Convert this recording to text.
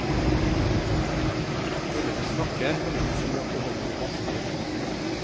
Kunne de snakke ville de si at det holder i massevis.